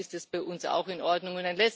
Damit ist es bei uns auch in Ordnung.